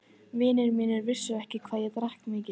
Vinir mínir vissu ekki hvað ég drakk mikið.